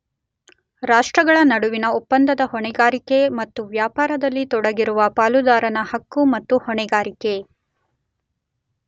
ರಾಷ್ಟ್ರಗಳ ನಡುವಿನ ಒಪ್ಪಂದದ ಹೊಣೆಗಾರಿಕೆ ಮತ್ತು ವ್ಯಾಪಾರದಲ್ಲಿ ತೊಡಗಿರುವ ಪಾಲುದಾರನ ಹಕ್ಕು ಮತ್ತು ಹೊಣೆಗಾರಿಕೆ.